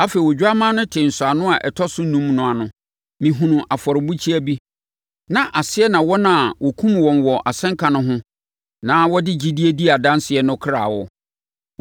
Afei Odwammaa no tee nsɔano a ɛtɔ so enum no ano. Mehunuu afɔrebukyia bi, na aseɛ na wɔn a wɔkumm wɔn wɔ asɛnka no ho na wɔde gyidie dii adanseɛ no akra wɔ.